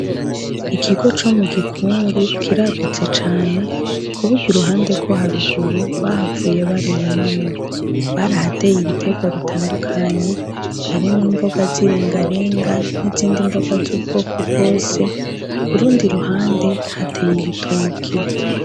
Ikigo co mugikungu kiragutse cane kuburyo kuruhande rwo haraguru bahavuye barurimamwo barahateye ibiterwa bitandukanye harimwo imboga zirengarenga n'izindi mboga z'ubwoko bwose kurundi ruhande hateye ibitoke